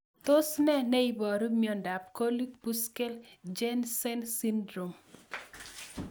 Tos nee neiparu miondop Gorlin Bushkell Jensen syndrome?